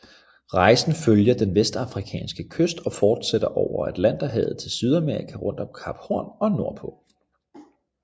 Rejsen følger den vestafrikanske kyst og fortsætter over atlanterhavet til Sydamerika rundt om Kap Horn og nordpå